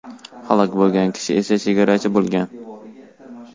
Halok bo‘lgan kishi esa chegarachi bo‘lgan.